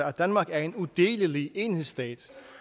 at danmark er en udelelig enhedsstat